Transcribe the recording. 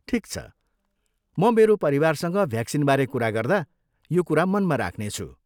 ठिक छ, म मेरो परिवारसँग भ्याक्सिनबारे कुरा गर्दा यो कुरा मनमा राख्नेछु।